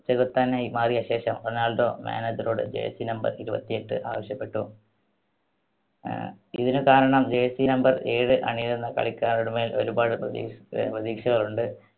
ചെകുത്താനായി മാറിയ ശേഷം Ronaldo manager ട് jersey number ഇരുപത്തിയെട്ട് ആവശ്യപ്പെട്ടു. അഹ് ഇതിന് കാരണം jersey number ഏഴ് അണിയുന്ന കളിക്കാരുടെ മേൽ ഒരുപാട് പ്രതീഷ്~പ്രതീക്ഷകളുണ്ട്.